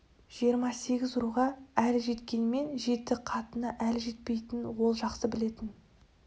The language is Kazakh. жиырма сегіз руға әлі жеткенмен жеті қатынына әлі жетпейтінін ол жақсы білетін